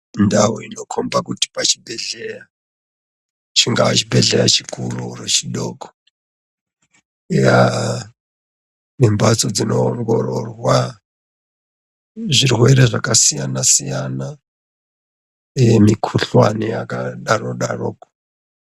Ndau inokhomba kuti pachibhedhlera, chingaa chibhedhlera chikuru kana chidoko, yaa nemhatso dzinoongororwa zvirwere zvakasiyana-siyana uye mikhuhlane yakadaro-daroko.